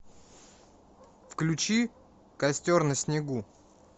включи костер на снегу